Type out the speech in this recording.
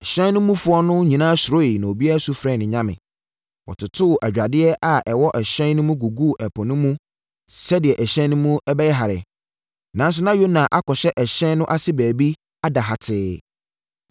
Ɛhyɛn no mufoɔ no nyinaa surooɛ na obiara su frɛɛ ne nyame. Wɔtotoo adwadeɛ a ɛwɔ ɛhyɛn no mu guguu ɛpo no mu sɛdeɛ ɛhyɛn no mu bɛyɛ herɛ. Nanso na Yona akɔhyɛ ɛhyɛn no ase baabi ada hatee.